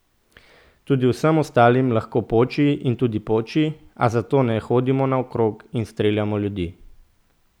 Tudi vsem ostalim lahko poči in tudi poči, a zato ne hodimo naokrog in streljamo ljudi.